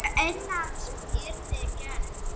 Ef innrás yrði gerð?